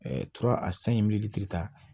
tura a san in ta